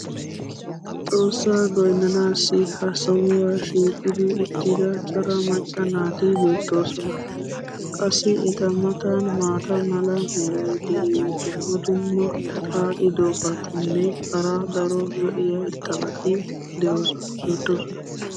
xoossaa goynnanaassi ha sohuwa shiiqi uttida cora macca naati beetoosona. qassi eta matan maata mala meray diyo dumma dumma xaaxxidobatinne hara daro lo'iya irxxabati beetoosona.